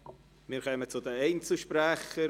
Wir kommen zu den Einzelsprechern: